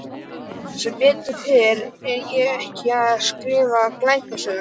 Sem betur fer er ég ekki að skrifa glæpasögu.